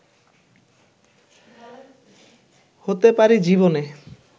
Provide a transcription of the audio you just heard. হতে পারি জীবনে